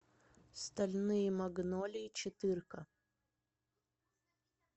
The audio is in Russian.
стальные магнолии четырка